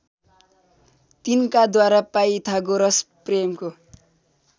तिनकाद्वारा Pythagoras प्रमेयको